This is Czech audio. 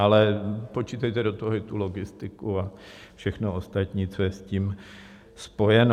Ale počítejte do toho i tu logistiku a všechno ostatní, co je s tím spojeno.